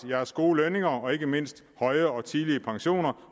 deres gode lønninger og ikke mindst høje og tidlige pensioner